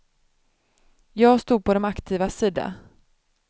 Jag stod på de aktivas sida.